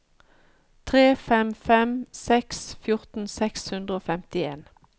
tre fem fem seks fjorten seks hundre og femtien